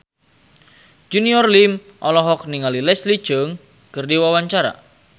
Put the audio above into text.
Junior Liem olohok ningali Leslie Cheung keur diwawancara